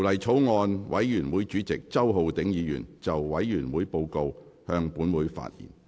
法案委員會主席周浩鼎議員就委員會報告，向本會發言。